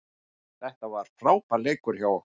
Þetta var frábær leikur hjá okkur